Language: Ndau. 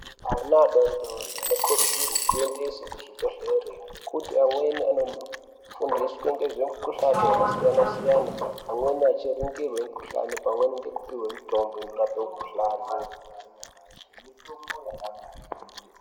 Ana adorodori anokurudzirwe kuendeswe kuzvibhehleri ngekuti amweni anondofundiswa ngezvemikuhlani yakasiyana-siyana, amweni erichingirwe mikuhlani pamweni ngekupihwe mitombo inorape mikuhlani.